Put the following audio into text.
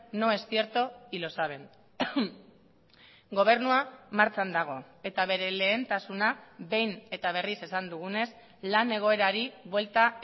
no es cierto y lo saben gobernua martxan dago eta bere lehentasuna behin eta berriz esan dugunez lan egoerari buelta